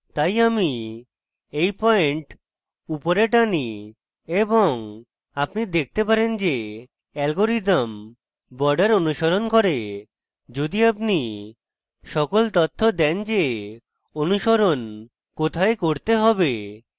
তাই আমি এই পয়েন্ট উপরে টানি এবং আপনি দেখতে পারেন যে অ্যালগরিদম border অনুসরণ করে যদি আপনি সঠিক তথ্য দেন যে অনুসরণ কোথায় করতে হবে